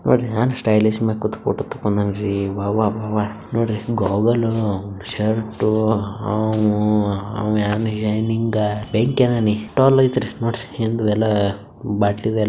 ಒಬ್ಬ ಭೂತನ ಸ್ಟೈಲಾಗಿ ಹೋಗಲು ಶರ್ಟು ಎಲ್ಲಾ ಹಾಕೊಂಡು ಚೇರ್ ಮೇಲೆ--